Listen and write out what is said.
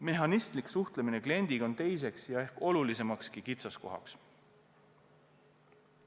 Mehhanistlik suhtlemine kliendiga on teine ja ehk olulisemgi kitsaskoht.